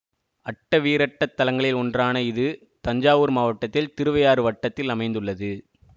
அட்டவீரட்டத் தலங்களில் ஒன்றான இது தஞ்சாவூர் மாவட்டத்தில் திருவையாறு வட்டத்தில் அமைந்துள்ளது